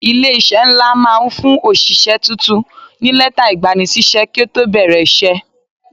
Ilé-iṣẹ́ ńlá máa ń fún òṣìṣẹ́ tuntun ní lẹ́tà ìgbanisíṣẹ́ kí ó tó bẹ̀rẹ̀ iṣẹ́.